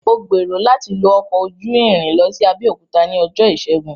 Mò gbèrò láti lo ọkọ ojú irin lọ sí Abẹ́òkúta ní ọjọ́ ìṣègun